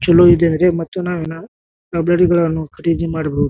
ಚಲೋ ಇದೇವ್ರಿ ಮತ್ತು ನಾವ್ ಏನ್ ಖರೀದಿ ಮಾಡಬಹುದು.